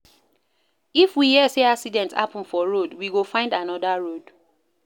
If we hear sey accident happen for road, we go find anoda road.